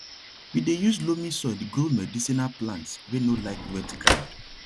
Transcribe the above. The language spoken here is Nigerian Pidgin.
we dey use loamy soil grow medicinal plants wey no like wet ground